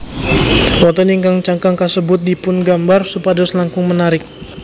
Wonten ing cangkang kasebut dipungambar supados langkung menarik